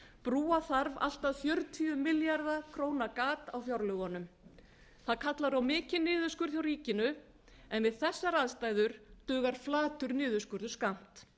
brúa þarf allt að fjörutíu milljarða króna gat á fjárlögunum það kallar á mikinn niðurskurð hjá ríkinu en við þessar aðstæður dugar flatur niðurskurður skammt